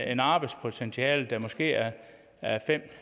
et arbejdspotentiale der måske er er fem